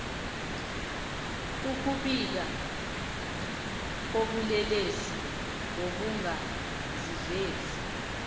ukubika ubulelesi ngokungazivezi